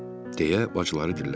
deyə bacıları dilləndi.